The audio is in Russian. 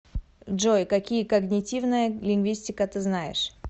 джой какие когнитивная лингвистика ты знаешь